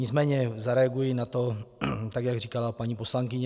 Nicméně zareaguji na to, tak jak říkala paní poslankyně.